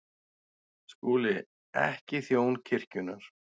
SKÚLI: Ekki þjón kirkjunnar.